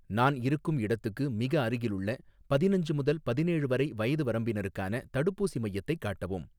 நான் இருக்கும் இடத்துக்கு மிக அருகிலுள்ள பதினஞ்சு முதல் பதினேழு வரை வயது வரம்பினருக்கான தடுப்பூசி மையத்தைக் காட்டவும்